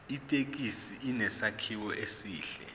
ithekisi inesakhiwo esihle